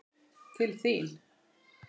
Til þín.